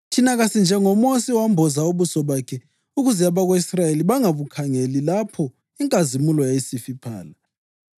Thina kasinjengoMosi owamboza ubuso bakhe ukuze abako-Israyeli bangabukhangeli lapho inkazimulo yayisifiphala.